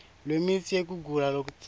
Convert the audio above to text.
lwemitsi yekugula lokutsatsa